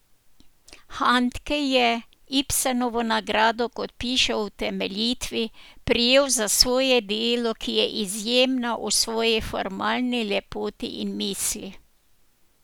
Handke je Ibsenovo nagrado, kot piše v utemeljitvi, prejel za svoje delo, ki je izjemna v svoji formalni lepoti in misli.